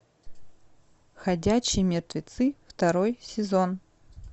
ходячие мертвецы второй сезон